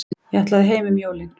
Ég ætlaði heim um jólin.